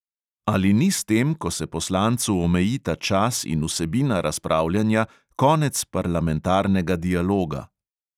Ali ni s tem, ko se poslancu omejita čas in vsebina razpravljanja, konec parlamentarnega dialoga?